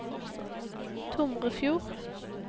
Tomrefjord